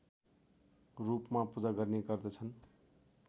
रूपमा पूजा गर्ने गर्दछन्